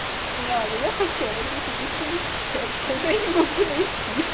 не надо я хотел найти совместимость в сексе но не могу найти